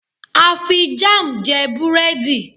a fi jam je burẹdi